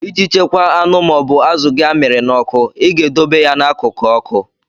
Iji chekwaa anụ ma ọ bụ azụ gị amịrị n'ọkụ, I ga-edobe ya n'akụkụ ọkụ.